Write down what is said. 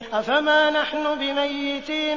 أَفَمَا نَحْنُ بِمَيِّتِينَ